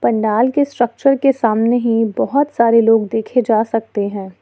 लाल के स्ट्रक्चर के सामने ही बहुत सारे लोग देखे जा सकते हैं।